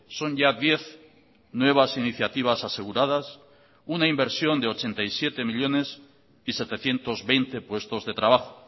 son ya diez nuevas iniciativas aseguradas una inversión de ochenta y siete millónes y setecientos veinte puestos de trabajo